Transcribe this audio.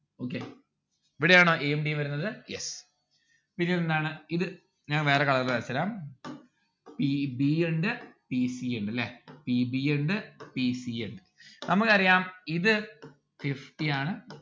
okay ഇവിടെ ആണോ a ഉം d ഉം വരുന്നത്? yes പിന്നെന്താണ് ഇത് ഞാൻ വേറെ colour ല് വരചെരാം p b ഉണ്ട് p c ഉണ്ട് അല്ലെ p b ഉണ്ട് p c ഉണ്ട് നമ്മുക്ക് അറിയാം ഇത് fifty ആണ്